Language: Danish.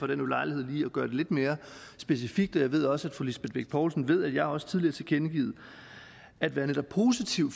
den ulejlighed lige at gøre det lidt mere specifikt og jeg ved også at fru lisbeth bech poulsen ved at jeg også tidligere har tilkendegivet at være netop positiv